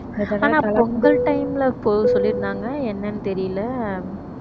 ஆனா பொங்கல் time ல சொல்லியிருந்தாங்க என்னன்னு தெரியலே